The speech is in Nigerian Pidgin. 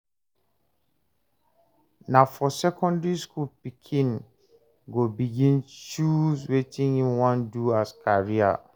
Na for secondry school pikin go begin choose wetin im wan do as career